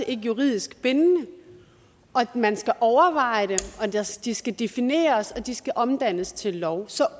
ikke juridisk bindende og man skal overveje det og de skal defineres og de skal omdannes til lov så